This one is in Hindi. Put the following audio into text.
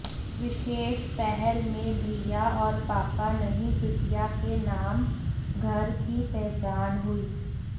विशेष पहल में भैया और पापा नहीं बिटिया के नाम घर की पहचान हुई